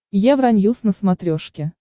евроньюс на смотрешке